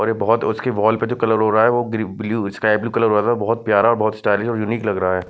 और ये बहुत उसके वॉल पे जो कलर हो रहा है वो ब्लू स्काई ब्लू कलर वाला बहुत प्यारा और बहुत स्टाइलिश और यूनिक लग रहा है।